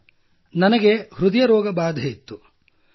sir ನನಗೆ ಹೃದಯ ರೋಗ ಬಾಧೆಯಿತ್ತು